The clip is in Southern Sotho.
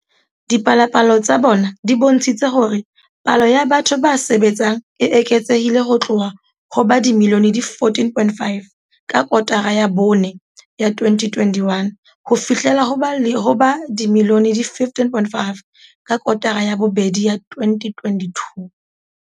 Dipalopalo tsa bona di bontshitse hore palo ya batho ba sebetsang e eketsehile ho tloha ho ba dimilione di 14.5 ka kotara ya bone ya 2021 ho fihlela ho ba dimilione di 15.5 ka kotara ya bobedi ya 2022.